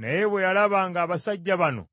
Naye bwe yalaba ng’abasajja bano